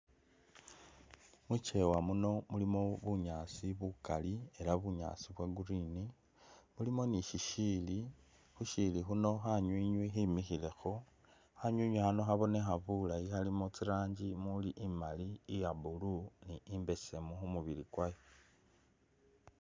Mukyewa muno mulimo bunyaasi bukali ela bunyaasi bwa green, mulimo ni shishili ,khu shili khuno khanywinywi khimikhilekho ,khanywinywi khano khabonekha bulayi khalimo tsi'ranji muli imali, iýa blue ni imbesemu khu mubili kwayo